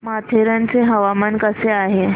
माथेरान चं हवामान कसं आहे